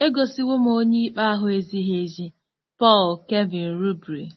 “Egosiwo m Onyeikpe ahụ ezighị ezi.”—PAUL KEVIN RUBERY